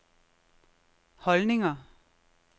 holdninger